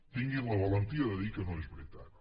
tinguin la valentia de dir que no és veritat